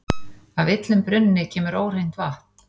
Af illum brunni kemur óhreint vatn.